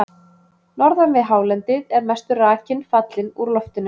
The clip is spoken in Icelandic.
Norðan við hálendið er mestur rakinn fallinn úr loftinu.